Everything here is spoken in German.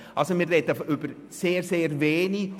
Also, wir sprechen über sehr, sehr wenige.